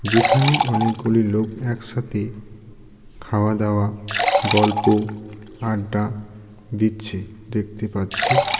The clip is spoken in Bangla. যেখানে অনেকগুলি লোক একসাথে খাওয়া দাওয়া গল্প আড্ডা দিচ্ছে দেখতে পাচ্ছি .